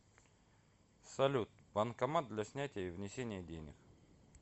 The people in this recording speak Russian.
салют банкомат для снятия и внесения денег